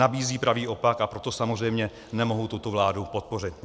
Nabízí pravý opak, a proto samozřejmě nemohu tuto vládu podpořit.